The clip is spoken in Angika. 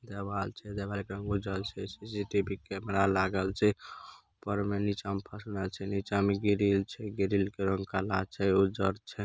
जवाल छे जवाल के रंग उजर छे सी.सी.टी.वी. कैमरा लागल छे ऊपर में नीचा मँ परना छे नीचा मँ गिरिल छे गिरिल का रंग काला उज्जल छे उजर छे।